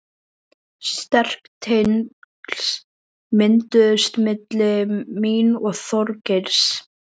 Sterk tengsl mynduðust milli mín og Þorgeirs.